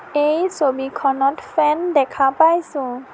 এই ছবিখনত ফেন দেখা পাইছোঁ।